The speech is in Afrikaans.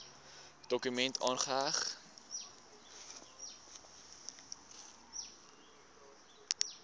dokument aangeheg